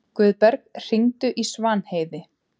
Guðberg, hringdu í Svanheiði.